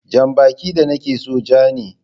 Jan baki da nake so ja ne.